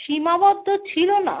সীমাবদ্ধ ছিল না।